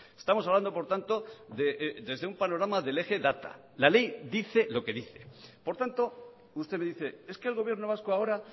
estamos hablando por tanto desde un panorama del eje data la ley dice lo que dice por tanto usted me dice es que el gobierno vasco ahora